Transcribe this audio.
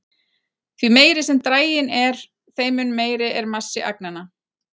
Því meiri sem draginn er, þeim mun meiri er massi agnanna.